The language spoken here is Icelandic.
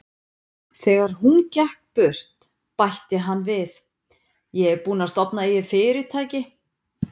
Þegar hún gekk burt, bætti hann við: Ég er búinn að stofna eigið fyrirtæki.